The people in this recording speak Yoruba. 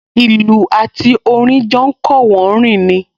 Ìlù àti orin jọ ń kọ́wọ̀ọ́rìn ni